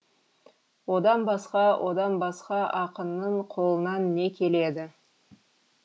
одан басқа одан басқа ақынның қолынан не келеді